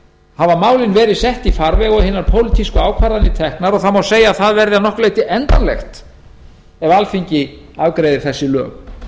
hafa málin verið sett í farveg og hinar pólitísku ákvarðanir teknar og það má segja að það verði að nokkru leyti endanlegt ef alþingi afgreiðir þessi lög